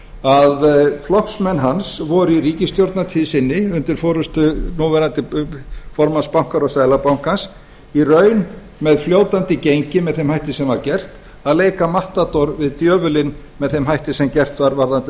að flokksmenn hans voru í ríkisstjórnartíð sinni undir forustu núverandi formanns bankaráðs seðlabankans í raun með fljótandi gengi með þeim hætti sem var gert að leika matador við djöfulinn með þeim hætti sem gert var varðandi